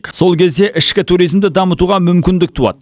сол кезде ішкі туризмді дамытуға мүмкіндік туады